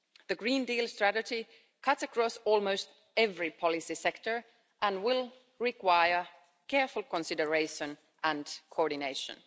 The Green Deal strategy cuts across almost every policy sector and will require careful consideration and coordination.